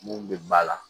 Mun bɛ ba la